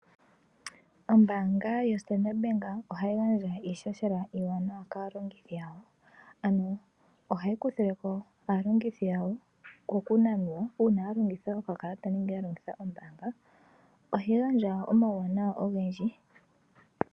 Ombaanga yo Standard bank ohayi gandja iishoshela iiwanawa kaalongothi yawo. Ano ohayi kuthileko aalongithi yawo ko kunanwa uuna ya longitha okakalata nenge ya longitha ombaanga ohayi gandja omawuwanawa ogendji.